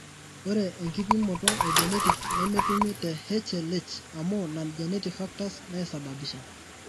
ore enkipimoto e genetic nemetumi te HLH amuu non genetic factors naisababisha.